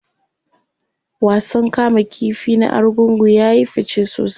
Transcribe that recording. wasan kama ƙifi na argungu yayi fice sosai